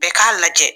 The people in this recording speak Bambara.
Bɛɛ k'a lajɛ